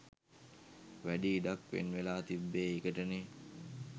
වැඩි ඉඩක් වෙන්වෙලා තිබ්බේ ඒකටනේ.